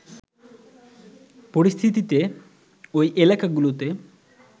পরিস্থিতিতে ওই এলাকাগুলোতে